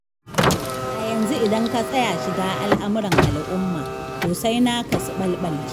A yanzu idan ka tsaya shiga al'amuran al'uma, to sai naka su ɓalɓalce.